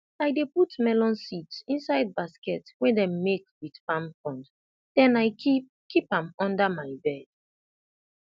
i dey put melon seeds inside basket wey dem make with palm frond then i keep keep am under my bed